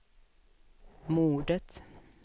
mordet